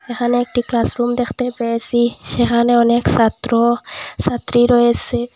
এখানে একটি ক্লাসরুম দেখতে পেয়েসি সেখানে অনেক সাত্র সাত্রী রয়েসে।